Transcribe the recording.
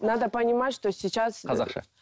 надо понимать что сейчас қазақша